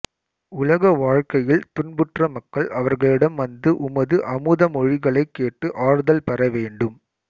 உலக வாழ்க்கையில் துன்புற்ற மக்கள் அவர்களிடம் வந்து உமது அமுதமொழிகளைக் கேட்டு ஆறுதல் பெற வேண்டும்